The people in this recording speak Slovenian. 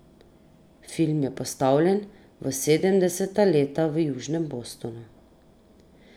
Film je postavljen v sedemdeseta leta v južnem Bostonu.